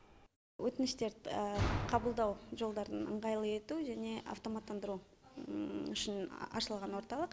өтініштерді қабылдау жолдарын ыңғайлы ету және автоматтандыру үшін ашылған орталық